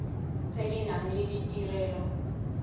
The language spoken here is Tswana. tse di nang le ditirelo